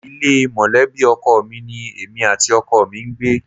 Ilé mọ̀lẹ́bì ọkọ mi ní èmi àti ọkọ mi ń gbé